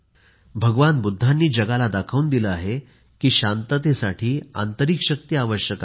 भगवान बुद्धांनी जगाला दाखवून दिले आहे की शांततेसाठी आंतरिक शक्ती आवश्यक आहे